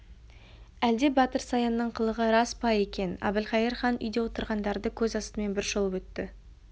әлде батыр саянның қылығы рас па екен әбілқайыр хан үйде отырғандарды көз астымен бір шолып өтті